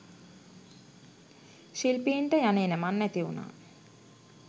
ශිල්පීන්ට යන එනමං නැතිවුණා